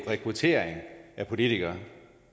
rekruttering af politikere